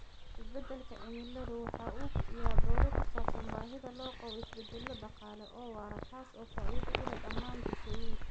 Isbeddelka cimiladu waxa uu kiciyaa doodo ku saabsan baahida loo qabo isbeddello dhaqaale oo waara kaas oo faa'iido u leh dhammaan bulshooyinka.